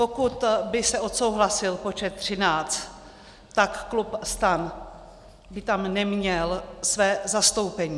Pokud by se odsouhlasil počet 13, tak klub STAN by tam neměl své zastoupení.